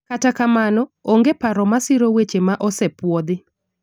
kata kamano, onge paro masiro wechego ma osepuodhi